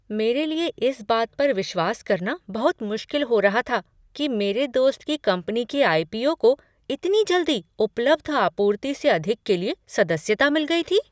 मेरे लिए इस बात पर विश्वास करना बहुत मुश्किल हो रहा था कि मेरे दोस्त की कंपनी के आई.पी.ओ. को इतनी जल्दी उपलब्ध आपूर्ति से अधिक के लिए सदस्यता मिल गई थी।